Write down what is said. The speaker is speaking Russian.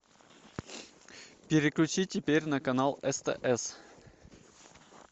переключи теперь на канал стс